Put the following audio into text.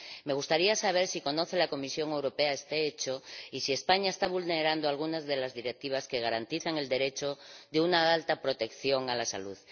Me gustaría saber si conoce la Comisión Europea este hecho y si España está vulnerando alguna de las Directivas que garantizan el derecho a una alta protección a la salud.